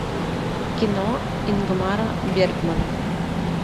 кино ингмара бергмана